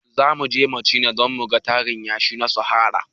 Zamuje machina don muga tarin yashi na sahara